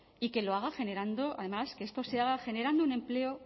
y que lo haga generando además que esto se haga generando un empleo